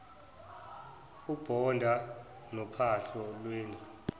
ubonda nophahla lwendlu